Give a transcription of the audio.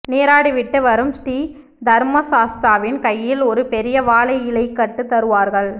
நீராடிவிட்டு வரும் ஸ்ரீ தர்மசாஸ்தாவின் கையில் ஒரு பெரிய வாழை இலைக்கட்டு தருவார்கள்